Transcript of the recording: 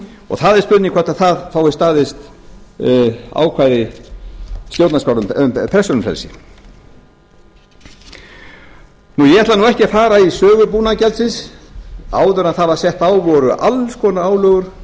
og það er spurning hvort það fái staðið ákvæði um persónufrelsi ég ætla ekki að fara í sögu búnaðargjaldsins áður en það var sett á voru alls konar álögur